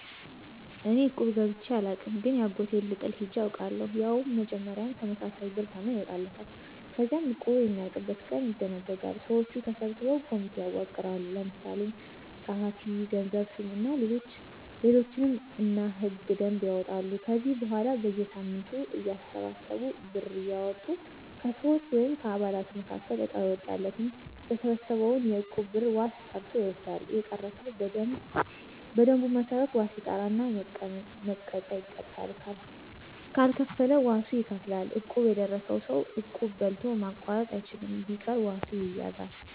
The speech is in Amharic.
እኔ እቁብ ገብቸ አላውቅም ግን የአጎቴን ልጥል ሄጀ አውቃለሁ። ያው መጀመሪያ ተመሳሳይ ብር ተመን ይወጣለታል። ከዚያ እቁቡ የሚያልቅበት ቀን ይደነጃል። ሰወቹ ተሰብስበው ኮሚቴ ያዋቅራሉ። ለምሳሌ ጸሀፊ፣ ገንዘብ ሹም እና ሌሎችም እና ሕገ - ደንብ ያወጣሉ። ከዚያ በኋላ በየሳምንቱ እያተሰበሰቡ ብር እያወጡ ከሰወች(ከአባላቱ)መካከል እጣው የወጣለት የተሰበሰበውን የእቁብ ብር ዋስ ጠርቶ ይወስዳል። የቀረ ሰው በደንቡ መሠረት ዋስ ይጠራና መቀጫ ይቀጣል ካልከፈለ ዋሱ ይከፍላል። እቁብ የደረሰው ሰው እቁብ በልቶ ማቋረጥ አይችልም። ቢቀር ዋሱ ይያዛል።